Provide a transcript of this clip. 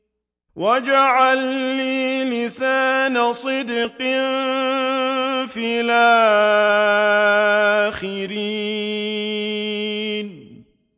وَاجْعَل لِّي لِسَانَ صِدْقٍ فِي الْآخِرِينَ